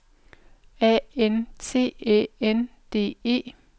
A N T Æ N D E